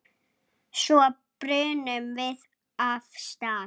Svo brunum við af stað.